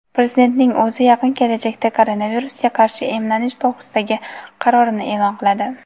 Prezidentning o‘zi yaqin kelajakda koronavirusga qarshi emlanish to‘g‘risidagi qarorini e’lon qiladi.